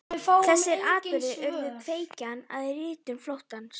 Þessir atburðir urðu kveikjan að ritun Flóttans.